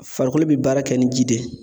Farikolo bɛ baara kɛ ni ji de ye.